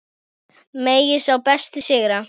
Megi sá besti sigra.